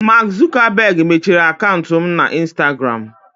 Mark Zuckerberg mechiri akaụntụ m na instagram.